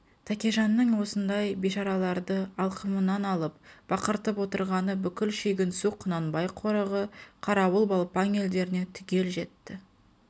тәкежанның осыңдай бишараларды алқымымынан алып бақыртып отырғаны бүкіл шүйгінсу құнанбай қорығы қарауыл балпаң елдеріне түгел жетті